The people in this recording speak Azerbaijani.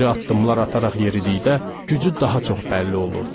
İri addımlar ataraq yeridikdə, gücü daha çox bəlli olurdu.